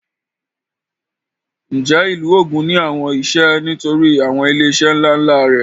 Ǹjẹ́ ìlú Ògùn ní àwọn iṣẹ́ nítorí àwọn ilé iṣẹ́ ńlá ńlá rẹ̀?